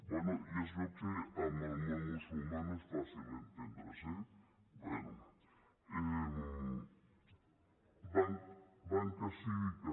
bé ja es veu que amb el món musulmà no és fàcil entendre’s eh bé banca cívica